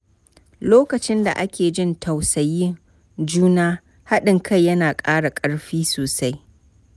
Lokacin da ake jin tausayin juna, haɗin kai yana ƙara ƙarfi sosai.